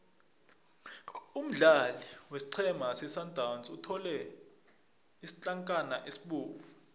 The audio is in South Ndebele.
umdlali wesiqhema sesundowns uthole isitlankana esibovu